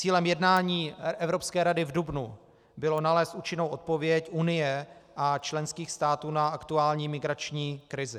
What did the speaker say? Cílem jednání Evropské rady v dubnu bylo nalézt účinnou odpověď Unie a členských států na aktuální migrační krizi.